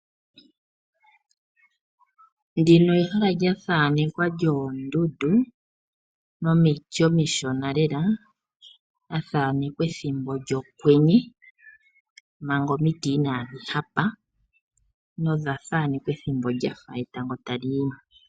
Ehala lyoondundu nomiti omishona lela, pethimbo lyokwenye ohali kala lyakukùta noonkondo. Noyendji oye hole oku li thaaneka uuna etango tali yi mo.